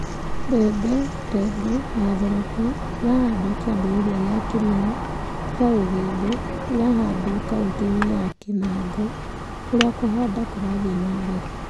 Mbebe, greengrams, na cowpeas , ira handwo ki͂ambi͂ri͂ria ki͂a mi͂mera tiga u͂gi͂mbi͂ , iria ihandagwo kaunti-ini͂ nini ya Kinango, kuria ku͂handa kurathii͂ na mbere.